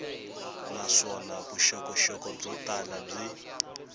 naswona vuxokoxoko byo tala byi